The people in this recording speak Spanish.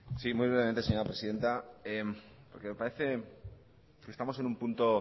sí muy brevemente señora presidenta lo que me parece que estamos en un punto